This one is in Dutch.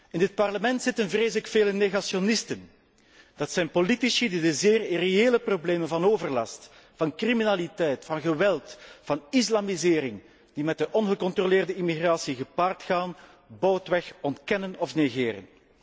In dit Parlement zitten, vrees ik, veel negationisten. Dat zijn politici die de zeer irreële problemen van overlast, van criminaliteit, van geweld, van islamisering, die met ongecontroleerde immigratie gepaard gaan, boudweg ontkennen of negeren.